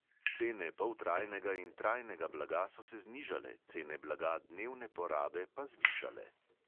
Cene poltrajnega in trajnega blaga so se znižale, cene blaga dnevne porabe pa zvišale.